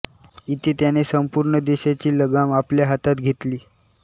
इथे त्याने संपूर्ण देशाची लगाम आपल्या हातात घेतली